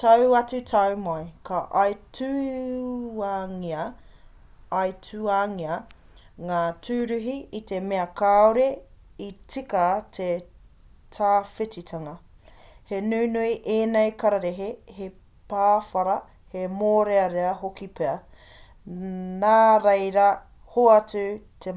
tau atu tau mai ka aituangia ngā tūruhi i te mea kāore i tika te tawhititanga he nunui ēnei kararehe he pāwhara he mōrearea hoki pea nāreira hoatu he